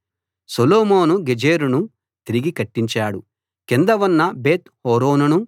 సొలొమోను గెజెరును తిరిగి కట్టించాడు కింద ఉన్న బేత్‌ హోరోనును